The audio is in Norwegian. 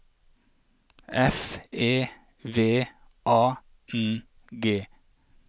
F E V A N G